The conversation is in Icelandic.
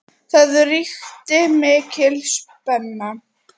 Það ríkti mikil spenna.